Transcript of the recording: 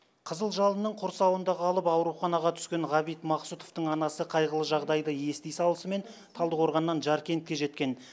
қызыл жалынның құрсауында қалып ауруханаға түскен ғабит мақсұтовтың анасы қайғылы жағдайды ести салысымен талдықорғаннан жаркентке жеткен